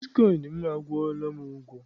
Eé, bitkọịn m akwụọla m ụgwọ.